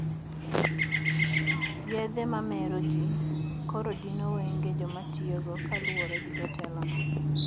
Yedhe mamer ji koro dino wenge jomatiyogo kaluore gi jatelo no